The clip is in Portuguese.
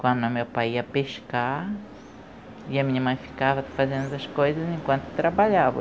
Quando o meu pai ia pescar, e a minha mãe ficava fazendo as coisas enquanto trabalhava.